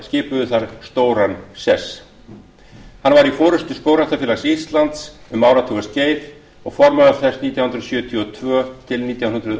skipuðu þar stóran sess hann var í forustu skógræktarfélags íslands um áratugaskeið og formaður þess nítján hundruð sjötíu og tvö til nítján hundruð